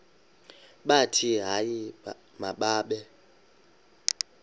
bathi hayi mababe